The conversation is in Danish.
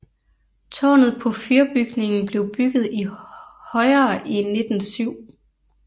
Tårnet på fyrbygningen blev bygget højere i 1907